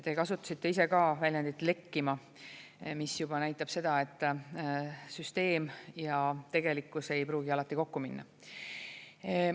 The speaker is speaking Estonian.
Te kasutasite väljendit "lekkima", mis näitab seda, et süsteem ja tegelikkus ei pruugi alati kokku minna.